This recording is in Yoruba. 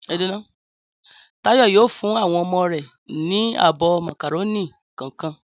Táyọ̀ yóò fún àwọn ọmọ rẹ̀ ní abọ́ màkàrónì kọ̀ọ̀kan.